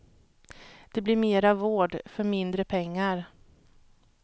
Det blir mera vård för mindre pengar.